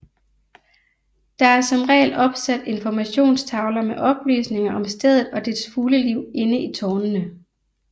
Der er som regel opsat informationstavler med oplysninger om stedet og dets fugleliv inde i tårnene